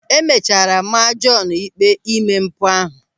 E mechara maa Jọọnu ịkpe ime mpụ ahụ.